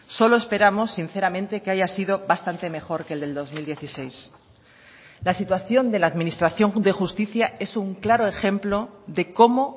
solo esperamos sinceramente que haya sido bastante mejor que el del dos mil dieciséis la situación de la administración de justicia es un claro ejemplo de cómo